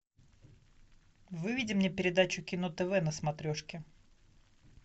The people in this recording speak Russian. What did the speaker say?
выведи мне передачу кино тв на смотрешке